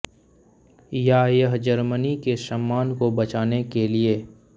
या यह जर्मनी के सम्मान को बचाने के लिए